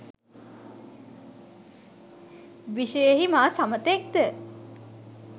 විශයෙහි මා සමතෙක්ද?